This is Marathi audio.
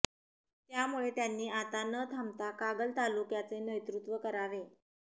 त्यामुळे त्यांनी आता न थांबता कागल तालुक्याचे नेतृत्व करावे